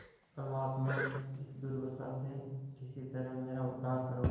परमात्मन इस दुर्दशा से किसी तरह मेरा उद्धार करो